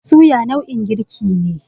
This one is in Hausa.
Suya nau'in girki ne.